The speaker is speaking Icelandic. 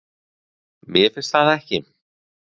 Mér finnst það ekki.